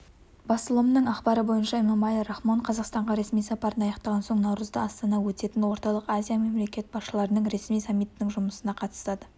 басылымның ақпары бойынша эмомали рахмон қазақстанға ресми сапарын аяқтаған соң наурызда астана өтетін орталық азия мемлекет басшыларының ресми саммитінің жұмысына қатысады